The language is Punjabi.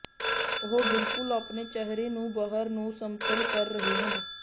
ਉਹ ਬਿਲਕੁਲ ਆਪਣੇ ਚਿਹਰੇ ਨੂੰ ਬਾਹਰ ਨੂੰ ਸਮਤਲ ਕਰ ਰਹੇ ਹਨ